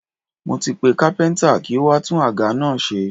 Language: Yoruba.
Mo ti pe kápẹ́ntà kí ó wá tún àga náà ṣe.